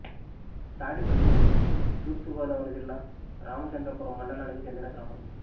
తాడిపల్లి తూర్పు గోదావరి జిల్లా రామచంద్రపురం మండలానికి చెందిన గ్రామం